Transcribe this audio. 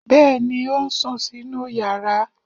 Bẹ́ẹ̀ ni, ó ń sùn sínú yàrá.